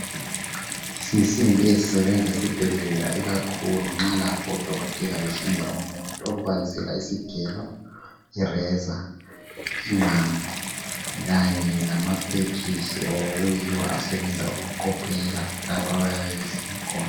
Izinsimbi ezisebenza esibhedlela ikakhulu nxa lapho odokotela behlinza umuntu besebenzisa isigelo razor ingqamu kanye lamapegs okuyiwo asebenza nxa behlinza umuntu